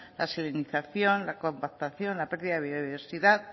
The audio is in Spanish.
la salinización la compactación la pérdida de biodiversidad